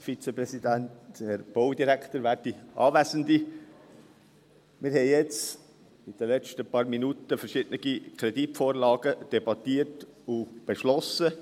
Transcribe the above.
Wir haben in den letzten Minuten verschiedene Kreditvorlagen debattiert und beschlossen.